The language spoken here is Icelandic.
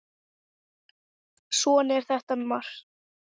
Svona er þetta með margt.